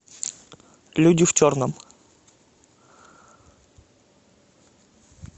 люди в черном